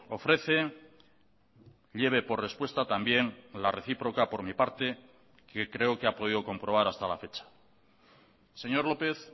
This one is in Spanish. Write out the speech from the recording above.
ofrece lleve por respuesta también la recíproca por mi parte que creo que ha podido comprobar hasta la fecha señor lópez